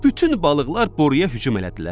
Bütün balıqlar boruya hücum elədilər.